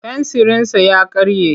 Fensirinsa ya karye.